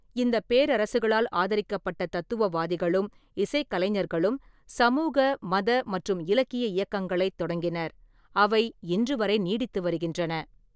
இந்தப் பேரரசுகளால் ஆதரிக்கப்பட்ட தத்துவவாதிகளும் இசைக் கலைஞர்களும் சமூக, மத மற்றும் இலக்கிய இயக்கங்களைத் தொடங்கினர், அவை இன்றுவரை நீடித்து வருகின்றன.